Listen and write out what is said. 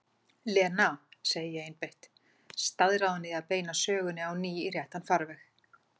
Lena, segi ég einbeitt, staðráðin í að beina sögunni á ný í réttan farveg.